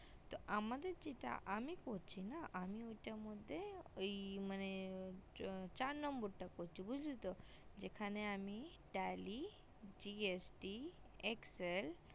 তো আমাদের যেটা আমি করছি না আমি ঐটার মধ্যে ওই মানে চার নম্বর টা করছি বুজলে তো এখানে আমি tally gst excel